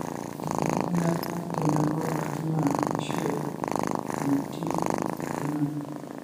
enkibelekenyata tenabaa olkina ashu enetiu olkina.